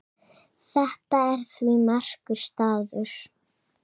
Þetta er því merkur staður.